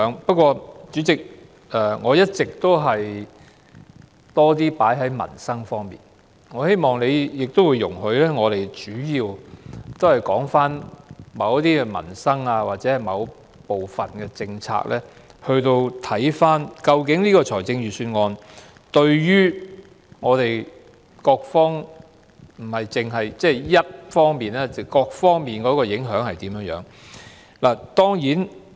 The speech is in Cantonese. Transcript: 不過，主席，由於我一直比較側重民生方面，所以希望你容許我們主要就着某些民生或某部分的政策來檢視這份預算案不但對社會某一方面，而且還是對各方面的影響。